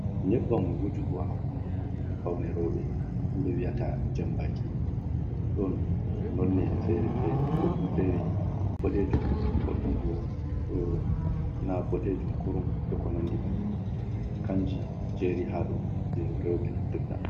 Nyebbam wujugo, ha hunduko ɗum faune rewɓe himɓe wiyata jambaaki ɗon noone fere-fere woddum fere boɗeejum koddum bo do na boɗeejum kurum e ko nandi bannin kanji jeeri haɗo je rewɓe naftirta.